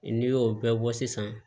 N'i y'o bɛɛ bɔ sisan